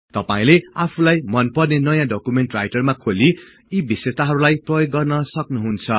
तपाईले आफूलाई मनपर्ने नयाँ डकुमेन्ट राईटरमा खोली यी विशेषताहरुलाई प्रयोग गर्न सक्नुहुन्छ